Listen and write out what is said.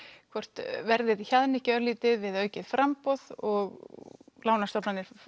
hvort verðið hjaðni ekki örlítið eða aukið framboð og lánastofnanir